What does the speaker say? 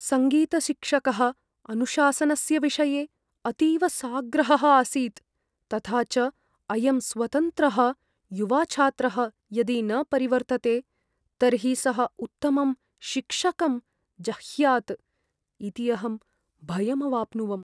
सङ्गीतशिक्षकः अनुशासनस्य विषये अतीव साग्रहः आसीत्, तथा च अयं स्वतन्त्रः, युवा छात्रः यदि न परिवर्तते तर्हि सः उत्तमं शिक्षकं जह्यात् इति अहं भयम् अवाप्नुवम्।